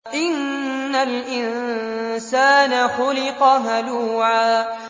۞ إِنَّ الْإِنسَانَ خُلِقَ هَلُوعًا